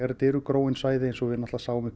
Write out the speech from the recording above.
þetta eru gróin svæði eins og við sáum uppi